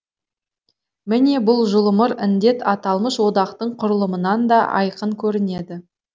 міне бұл жұлымыр індет аталмыш одақтың құрылымынан да айқын көрінеді